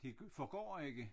Det forgår ikke